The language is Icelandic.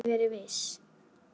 En þú getur ekki verið viss